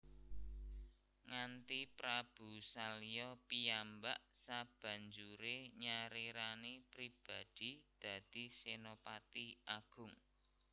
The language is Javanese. Nganthi Prabu Salya piyambak sabanjure nyarirani pribadi dadi senopati agung